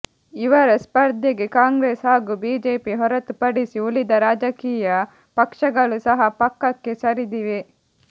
ಇವರ ಸ್ಪರ್ಧೆಗೆ ಕಾಂಗ್ರೆಸ್ ಹಾಗೂ ಬಿಜೆಪಿ ಹೊರತು ಪಡಿಸಿ ಉಳಿದ ರಾಜಕೀಯ ಪಕ್ಷಗಳು ಸಹ ಪಕ್ಕಕ್ಕೆ ಸರಿದಿವೆ